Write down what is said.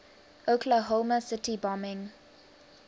oklahoma city bombing